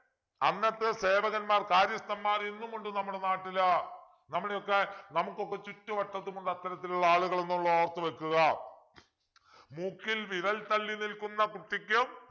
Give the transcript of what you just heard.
അന്നത്തെ സേവകന്മാർ കാര്യസ്ഥന്മാർ ഇന്നുമുണ്ട് നമ്മളെ നാട്ടില് നമ്മുടെയൊക്കെ നമുക്കൊക്കെ ചുറ്റുവട്ടത്തുമുള്ള അത്തരത്തിലുള്ള ആളുകളുണ്ടെന്നു ഓർത്തു വെക്കുക മൂക്കിൽ വിരൽ തള്ളി നിൽക്കുന്ന കുട്ടിക്കും